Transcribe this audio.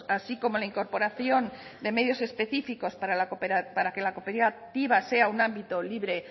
así como la incorporación de medios específicos para que la cooperativa sea un ámbito libre